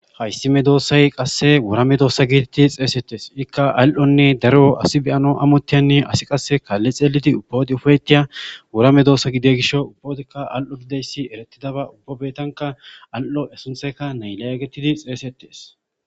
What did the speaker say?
Hayss medossay qase wora medossa getetidi xessetes ika al'onne daro asi beyanas amotizanne qase asi kali xelanas uba wode ufyetiya medossa gidiyo gishshaw izikka al'o gididayssa eretidabakko uba botankka al"o a sunththayikka naliya gettetes